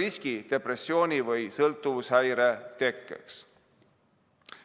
riski depressiooni või sõltuvushäire tekkeks.